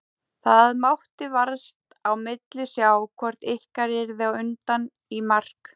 Það mátti vart á milli sjá hvort ykkar yrði á undan í mark.